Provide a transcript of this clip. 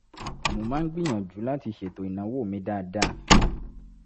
mo máa ń gbìyànjú láti ṣètò ìnáwó mi dáadáa